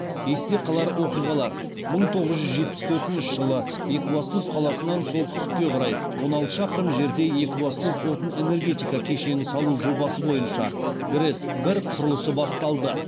есте қалар оқиғалар мың тоғыз жүз жетпіс төртінші жылы екібастұз қаласынан солтүстікке қарай он алты шақырым жерде екібастұз отын энергетика кешенін салу жобасы бойынша грэс бір құрылысы басталды